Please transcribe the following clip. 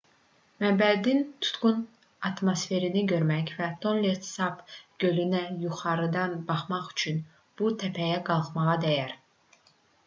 məbədin tutqun atmosferini görmək və tonle sap gölünə yuxarıdan baxmaq üçün bu təpəyə qalxmağa dəyər